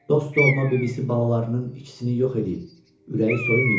Dost-doğma bibisi balalarının ikisini yox eləyib, ürəyi soyumayıb.